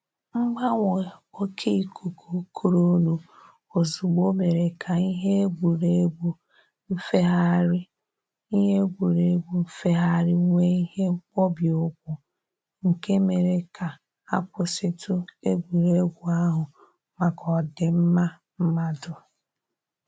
Mgbanwe oke ikuku kurunu ozugbo mere ka ihe egwuregwu nfegharị ihe egwuregwu nfegharị nwee ihe mkpọbi ụkwụ, nke mere ka a kwụsịtụ egwuregwu ahụ maka ọ dịmma mmadụ